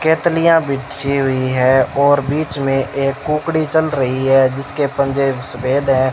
केतलीय बिछी हुई है और बीच में एक कुकड़ी चल रही है जिसके पंजे सफेद है।